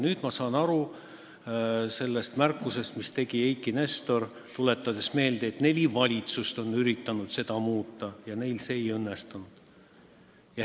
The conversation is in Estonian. Nüüd ma saan aru sellest märkusest, mille tegi Eiki Nestor, tuletades meelde, et neli valitsust on üritanud seda asja muuta ja neil see ei õnnestunud.